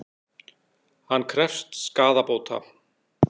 Hann krefst skaðabóta